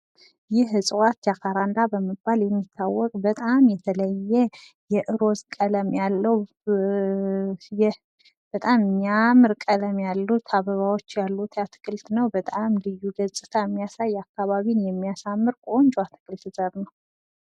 ይህ እፅዋት ጃካራንዳ በመባል የሚታወቅ በጣም የተለየ የሮዝ ቀለም ያለው ይህ በጣም የሚያምር ቀለም ያሉት አበባዎች ያሉት አትክልት ነው:: በጣም ልዩ ገፅታ የሚያሳይ አካባቢን የምያሳምር ቆንጆ የአትክልት ዘር ነው::